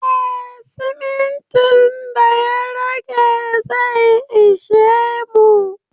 Eh simintin da ya rage zai ishe mu